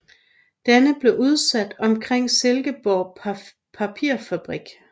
Den blev udsat omkring Silkeborg Papirfabrik